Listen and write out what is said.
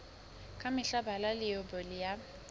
ka mehla bala leibole ya